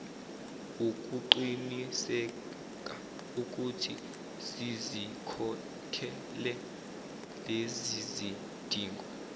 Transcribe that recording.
ukuqinisekaukuthi sizikhokhele lezizidingo